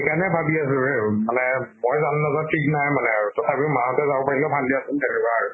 সেই কাৰণে ভাবি আছো মানে, মই যাম নাযাম ঠিক নাই আৰু। আৰু মা হতে যাব পাৰিলে ভাল দিয়াচোন। তেনেকুৱা আৰু।